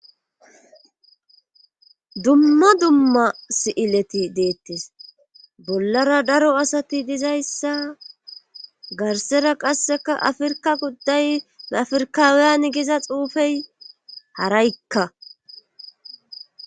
Dumma dumma si7ileti deettis bollara daro asati dizayssa garsera qasseka afirka gudday bafirkaawiyan giza xuufey haraykka.